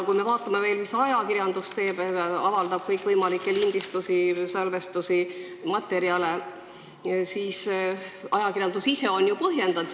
Kui me vaatame veel, mida ajakirjandus teeb – avaldab kõikvõimalikke lindistusi, salvestisi, materjale –, siis nad on seda ka põhjendanud.